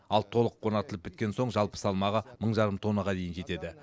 ал толық орнатылып біткен соң жалпы салмағы мың жарым тоннаға дейін жетеді